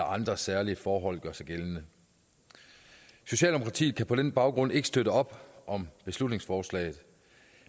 andre særlige forhold gør sig gældende socialdemokratiet kan på den baggrund ikke støtte op om beslutningsforslaget